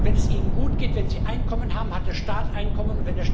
Und wenn es ihnen gutgeht, wenn sie Einkommen haben, hat der Staat Einkommen.